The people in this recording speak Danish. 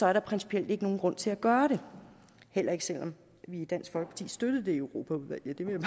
er der principielt ikke nogen grund til at gøre det heller ikke selv om vi i dansk folkeparti støttede det i europaudvalget det vil